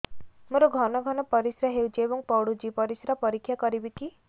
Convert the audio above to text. ମୋର ଘନ ଘନ ପରିସ୍ରା ହେଉଛି ଏବଂ ପଡ଼ୁଛି ପରିସ୍ରା ପରୀକ୍ଷା କରିବିକି